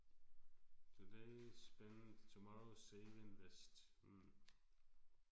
Today spend tomorrow save invest hm